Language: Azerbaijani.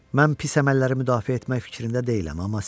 Mən pis əməlləri müdafiə etmək fikrində deyiləm,